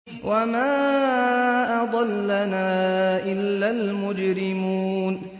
وَمَا أَضَلَّنَا إِلَّا الْمُجْرِمُونَ